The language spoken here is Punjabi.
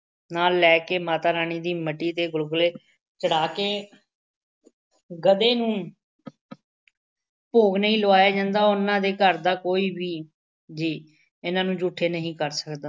ਨਾਲ ਲੈ ਕੇ ਮਾਤਾ ਰਾਣੀ ਦੀ ਮੱਟੀ ਤੇ ਗੁਲਗੁਲੇ ਚੜ੍ਹਾ ਕੇ ਗਧੇ ਨੂੰ ਭੋਗ ਨਹੀਂ ਲਵਾਇਆ ਜਾਂਦਾ, ਉਹਨਾ ਦੇ ਘਰ ਦਾ ਕੋਈ ਵੀ ਜੀਅ ਇਹਨਾ ਨੂੰ ਜੂਠੇ ਨਹੀਂ ਕਰ ਸਕਦਾ।